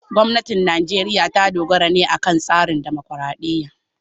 Gwamnatin Najeriya ta dogara ne akan tsarin dimokuradiyya.